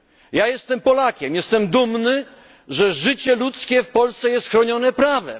Ja jestem Polakiem, jestem dumny, że życie ludzkie w Polsce jest chronione prawem.